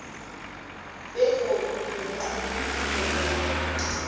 begodu nomnqophisi zombelele